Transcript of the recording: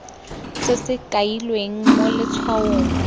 se se kailweng mo letshwaong